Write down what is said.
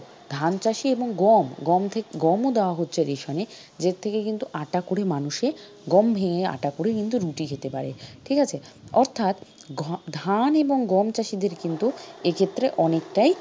ধান চাষি এবং গম, গম ও দেওয়া হচ্ছে ration এ। এর থেকে কি করে মানুষে গম ভেঙে আটা করে কিন্তু রুটি খেতে পারে ঠিক আছে? অর্থাৎ ধান এবং গম চাষিদের কিন্তু এ ক্ষেত্রে অনেকটাই,